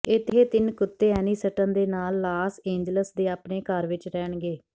ਇਹ ਤਿੰਨ ਕੁੱਤੇ ਐਨੀਸਟਨ ਦੇ ਨਾਲ ਲਾਸ ਏਂਜਲਸ ਦੇ ਆਪਣੇ ਘਰ ਵਿਚ ਰਹਿਣਗੇ